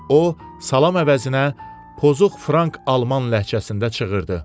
O salam əvəzinə pozux Frank Alman ləhcəsində çığırdı.